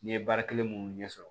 N ye baara kelen minnu ɲɛ sɔrɔ